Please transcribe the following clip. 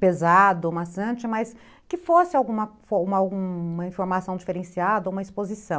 pesado, maçante, mas que fosse alguma informação diferenciada, uma exposição.